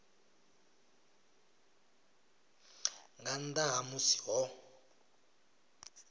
nga nnḓa ha musi ho